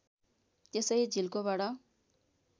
त्यसै झिल्कोबाट